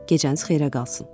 Gecəniz xeyrə qalsın.